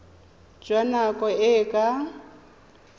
jwa nako e e ka